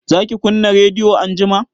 zaki kunna rediyo anjima?